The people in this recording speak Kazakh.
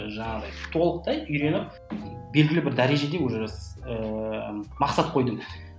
жаңағыдай толықтай үйреніп белгілі бір дәрежеде уже ііі мақсат қойдым